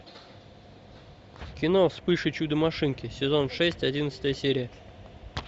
кино вспыш и чудо машинки сезон шесть одиннадцатая серия